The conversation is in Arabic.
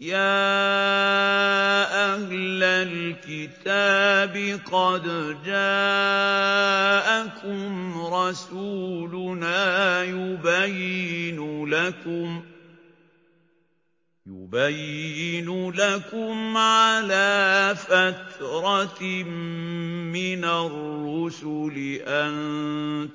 يَا أَهْلَ الْكِتَابِ قَدْ جَاءَكُمْ رَسُولُنَا يُبَيِّنُ لَكُمْ عَلَىٰ فَتْرَةٍ مِّنَ الرُّسُلِ أَن